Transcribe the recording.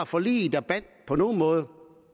forliget der bandt på nogen måde